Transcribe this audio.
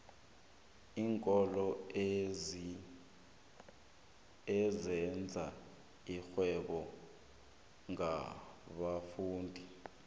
iinkolo ezenza irhwebo ngabafundi